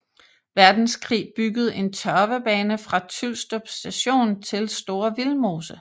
Verdenskrig bygget en tørvebane fra Tylstrup Station til Store Vildmose